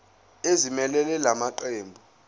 ezimelele la maqembu